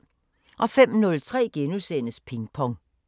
05:03: Ping Pong *